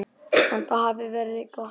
Enda hafi veðrið verið gott.